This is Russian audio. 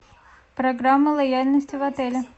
программа лояльности в отеле